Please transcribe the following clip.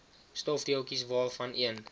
stofdeeltjies waarvan een